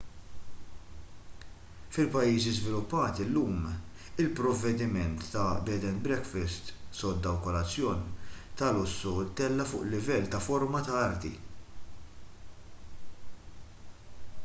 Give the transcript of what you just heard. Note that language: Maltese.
fil-pajjiżi żviluppati llum il-provvediment ta’ bed and breakfast” sodda u kolazzjon ta’ lussu ttella’ fuq livell ta’ forma ta’ arti